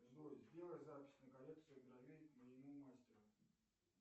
джой сделай запись на коррекцию бровей к моему мастеру